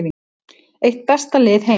Eitt besta lið heims